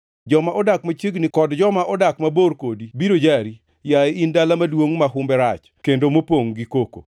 Joma odak machiegni kod joma odak mabor kodi biro jari, yaye in dala maduongʼ ma humbe rach, kendo mopongʼ gi koko.